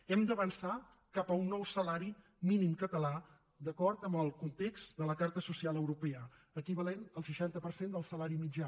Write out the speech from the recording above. hem d’avançar cap a un nou salari mínim català d’acord amb el context de la carta social europea equivalent al seixanta per cent del salari mitjà